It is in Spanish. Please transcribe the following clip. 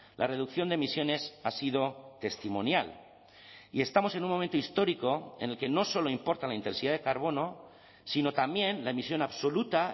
la reducción de emisiones ha sido testimonial y estamos en un momento histórico en el que no solo importa la intensidad de carbono sino también la emisión absoluta